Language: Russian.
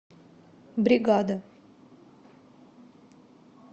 бригада